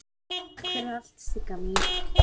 Takk fyrir allt Sigga mín.